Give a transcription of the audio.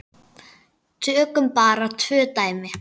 Tökum bara tvö dæmi.